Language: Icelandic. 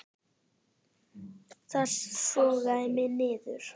Það sogaði mig niður.